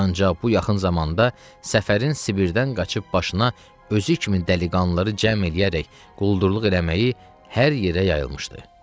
Ancaq bu yaxın zamanda Səfərin Sibirdən qaçıb başına özü kimi dəliqanlıları cəm eləyərək quldurluq eləməyi hər yerdə yayılmışdı.